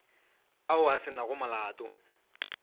ao a se nago molato